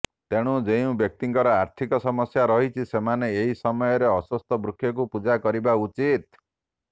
ତେଣୁ ଯେଉଁ ବ୍ୟକ୍ତିଙ୍କର ଆର୍ଥିକ ସମସ୍ୟା ରହିଛି ସେମାନେ ଏହି ମସୟରେ ଅଶ୍ୱତ୍ଥ ବୃକ୍ଷକୁ ପୂଜା କରିବା ଉଚିତ